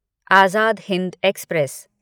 Azad Hind express